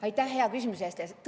Aitäh hea küsimuse eest!